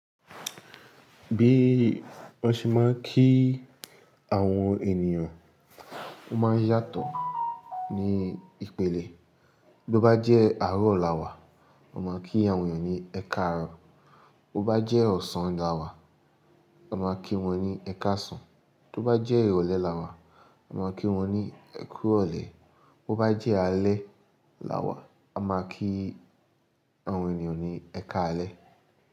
Bí wọ́n ṣe máa ń kí àwọn ènìyàn ó máa ń yàtọ̀ ní ìpele. Bí ó bá jẹ́ àárọ̀ làwà, a máa kí àwọn ènìyàn ní “ẹ káàárọ̀”. Bí ó bá jẹ́ ọ̀sán làwà, a máa kí wọ́n ní “ẹ káàsán”. Bí ó bá jẹ́ ìrọ̀lẹ́ làwà, a máa kí wọ́n ní “ẹ kú ìrọ̀lẹ́”. Bí ó bá jẹ́ alẹ́ làwà, a máa kí àwọn ènìyàn ní “ẹ káalẹ́”.